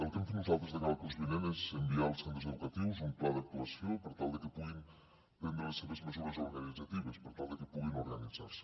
el que hem fet nosaltres de cara al curs vinent és enviar als centres educatius un pla d’actuació per tal que puguin prendre les seves mesures organitzatives per tal que puguin organitzar se